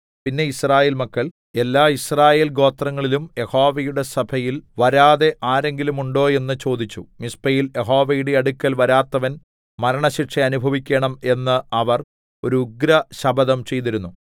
പിന്നെ യിസ്രായേൽ മക്കൾ എല്ലാ യിസ്രായേൽഗോത്രങ്ങളിലും യഹോവയുടെ സഭയിൽ വരാതെ ആരെങ്കിലും ഉണ്ടോ എന്ന് ചോദിച്ചു മിസ്പയിൽ യഹോവയുടെ അടുക്കൽ വരാത്തവൻ മരണശിക്ഷ അനുഭവിക്കേണം എന്ന് അവർ ഒരു ഉഗ്രശപഥം ചെയ്തിരുന്നു